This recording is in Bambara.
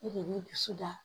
E de b'i dusu da